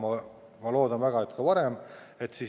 Ma väga loodan, et varem.